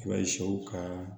I b'a ye sɛw ka